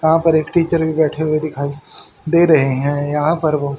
यहां पर एक टीचर भी बैठे हुए दिखाई दे रहे हैं यहां पर बहोत--